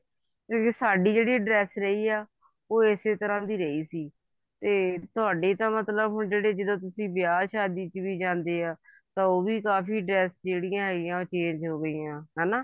ਤੇ ਸਾਡੀ ਜਿਹੜੀ dress ਰਹੀ ਆ ਉਹ ਇਸੇ ਤਰ੍ਹਾਂ ਦੀ ਰਹੀ ਸੀ ਤੇ ਤੁਹਾਡੀ ਤਾਂ ਮਤਲਬ ਹੁਣ ਜਿਹੜੀ ਜਦੋਂ ਤੁਸੀਂ ਵਿਆਹ ਸ਼ਾਦੀ ਚ ਵੀ ਜਾਂਦੇ ਆ ਤੇ ਉਹ ਕਾਫੀ dress ਜਿਹੜੀਆਂ change ਹੋ ਗਈਆਂ ਹਨਾ